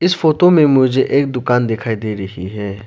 इस फोटो में मुझे एक दुकान दिखाई दे रही है।